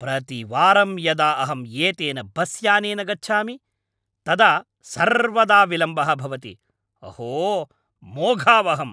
प्रतिवारं यदा अहं एतेन बस्यानेन गच्छामि, तदा सर्वदा विलम्बः भवति, अहो मोघावहम्!